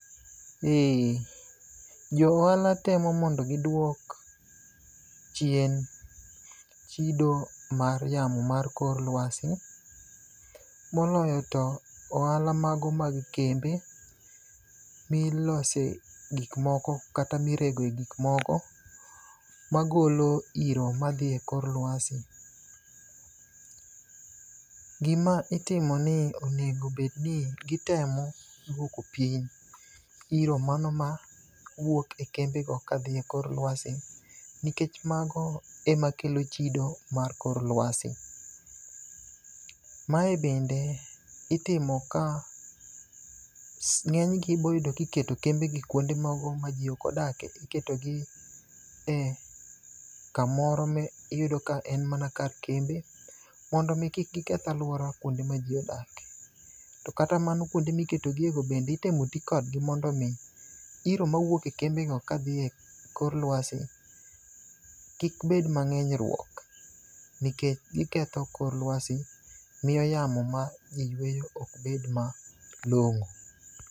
Johala temo mondo gidwok chien chido mar yamo mar kor lwasi moloyo to ohala mago mag kembe milose gikmoko kata miregoe gikmoko magolo iro madhi e kor lwasi. Gima itimo ni onego obed ni gitemo dwoko piny iro mano ma wuok e kembego kadhi e kor lwasi nikech mago ema kelo chido mar kor lwasi. Mae bende itimo ka ng'enygi iboyudo ka iketo kembegi kwonde mago ma ji ok odake. Iketogi e kamoro ma iyudo ka en mana kar kembe, mondo omi kik giketh alwora kwonde ma ji odakie. To kata mano, kwonde miketogie go bende itemo ti kodgi mondo omi iro mawuok e kembego kadhi e kor lwasi, kik bed mang'eny rwok, nikech giketho kor lwasi. Miyo yamo ma ji yweyo ok bed malong'o.